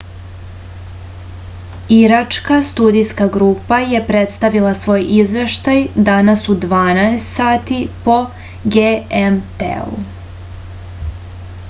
iračka studijska grupa je predstavila svoj izveštaj danas u 12.00 sati po gmt-u